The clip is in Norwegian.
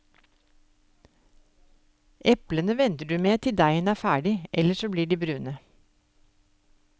Eplene venter du med til deigen er ferdig, ellers blir de brune.